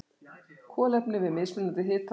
Kolefni við mismunandi hita og þrýsting.